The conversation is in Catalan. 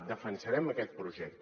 defensarem aquest projecte